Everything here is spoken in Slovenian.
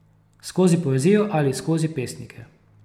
Skozi poezijo ali skozi pesnike.